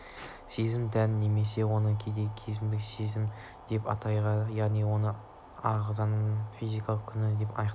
сезім тән немесе оны кейде төменгі сезім деп те атайды яғни оны ағзаның физикалық күйі анықтайды